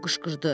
o qışqırdı.